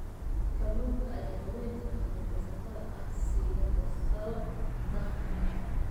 Kalluunka ayaa haweenka kalluumaysatada ah siiya fursado dakhli.